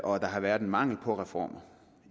og der har været en mangel på reformer